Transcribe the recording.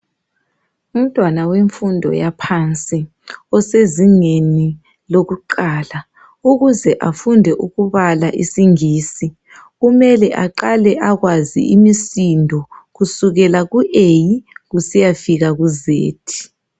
Umntwana wemfundo yaphansi osezingeni lokuqala ukuze afunde ukubala isiNgisi, kumele aqale akwazi imisindo kusukela ku A kusiyafika ku Z.